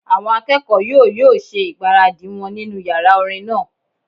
Àwọn akẹ́kọ̀ọ́ yóò yóò ṣe ìgbáradì wọn nínu yàrá orin náà